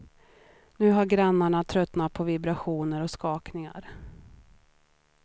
Nu har grannarna tröttnat på vibrationer och skakningar.